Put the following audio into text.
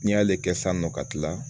N'i y'ale kɛ sisan nɔ ka tila